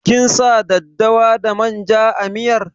Kin sa daddawa da manja a miyar?